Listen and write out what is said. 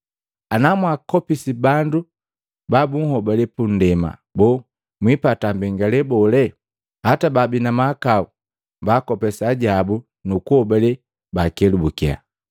Ana mwaakopisi bandu banhobale bundepa, boo, mwiipata mbengee bole? Hata baabi na mahakau baakopesa ajabu nu kuhobale bakelubukya.”